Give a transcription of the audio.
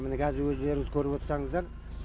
міне қазір өздеріңіз көріп отсаңыздар